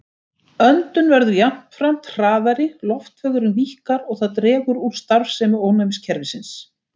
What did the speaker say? Öndun verður jafnframt hraðari, loftvegurinn víkkar og það dregur úr starfsemi ónæmiskerfisins.